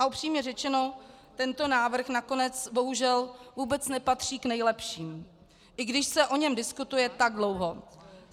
A upřímně řečeno, tento návrh nakonec bohužel vůbec nepatří k nejlepším, i když se o něm diskutuje tak dlouho.